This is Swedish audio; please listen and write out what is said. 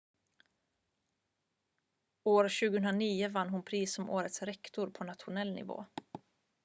år 2009 vann hon pris som årets rektor på nationell nivå